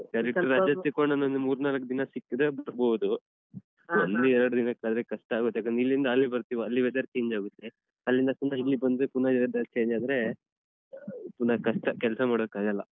ರಜೆ ಸಿಕ್ಕುವಾಗ ಅಂದ್ರೇ ಒಂದ್ ಮೂರ್ನಾಲ್ಕು ದಿನ ಸಿಕ್ಕಿದ್ರೆ ಬರ್ಬೋದು ಒಂದ್ ಎರ್ಡ್ ದಿನಕ್ಕಾದ್ರೆ ಕಷ್ಟ ಆಗುತ್ತೆ ಯಾಕಂದ್ರೆ ಇಲ್ಲಿಂದ ಅಲ್ಲಿಗ್ ಬರ್ತೀವಾ ಅಲ್ಲಿ weather change ಆಗುತ್ತೆ ಅಲ್ಲಿಂದ ಪುನ ಇಲ್ಲಿಗ್ ಬಂದ್ರೆ ಪುನ weather change ಆದ್ರೆ ಪುನ ಕಷ್ಟ ಕೆಲ್ಸ ಮಾಡೋಕ್ಕಾಗಲ್ಲ.